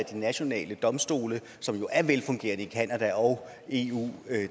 de nationale domstole som jo er velfungerende i canada og eu